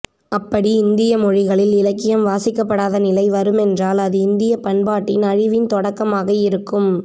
அப்படி இந்தியமொழிகளில் இலக்கியம் வாசிக்கப்படாத நிலை வருமென்றால் அது இந்தியப்பண்பாட்டின் அழிவின் தொடக்கமாக இருக்கும்